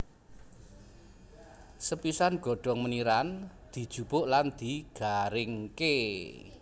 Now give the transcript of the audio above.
Sepisan godhong meniran dijupuk lan digaringké